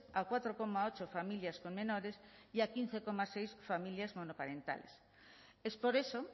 a cuatro coma ocho familias con menores y a quince coma seis familias monoparentales es por eso